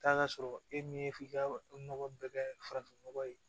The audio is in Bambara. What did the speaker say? Taa ka sɔrɔ e min ye f'i ka nɔgɔ bɛɛ kɛ farafinnɔgɔ ye